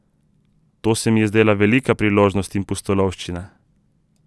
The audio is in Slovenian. To se mi je zdela velika priložnost in pustolovščina.